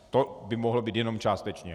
To by mohlo být jednom částečně.